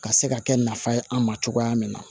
Ka se ka kɛ nafa ye an ma cogoya min na